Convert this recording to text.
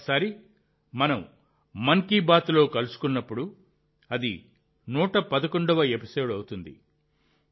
తర్వాతిసారి మనం మన్ కీ బాత్లో కలుసుకున్నప్పుడు అది 111వ ఎపిసోడ్ అవుతుంది